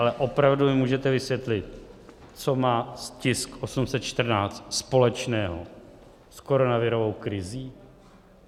Ale opravdu mi můžete vysvětlit, co má tisk 814 společného s koronavirovou krizí?